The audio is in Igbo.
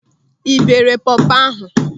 Ị beere pọpọ ahụ?